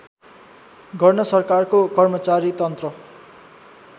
गर्न सरकारको कर्मचारीतन्त्र